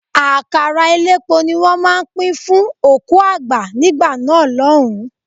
Àkàrà elépo ní wọ́n máa ń pín fún òkú àgbà nígbà náà lọ́hùn-ún.